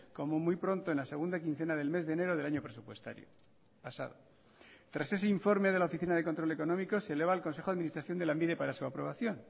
como muy pronto en la segunda quincena del mes de enero del año presupuestario pasado tras ese informe de la oficina de control económico se eleva al consejo de administración de lanbide para su aprobación